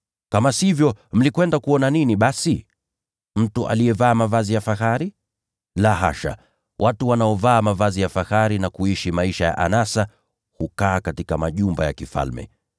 Kama sivyo, mlikwenda kuona nini basi? Mtu aliyevaa mavazi ya kifahari? La hasha, watu wanaovaa mavazi ya kifahari na kuishi maisha ya anasa wako katika majumba ya kifalme.